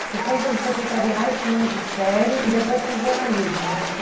Você foi, então, do secretariário para o magistério e depois para o jornalismo, né?